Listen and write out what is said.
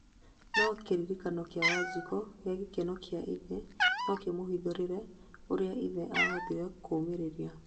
no kĩririkano gĩa Wanjiku kĩgiĩ gĩkeno kĩa ithe no kĩmũhithũrĩrie ũria ithe ahotire kumĩrĩria